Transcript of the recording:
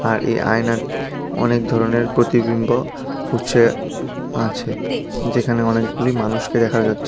আর এই আয়নায় অনেক ধরনের প্রতিবিম্ব উছে আছে যেখানে অনেকগুলি মানুষকে দেখা যাচ্ছে।